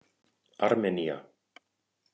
Armenía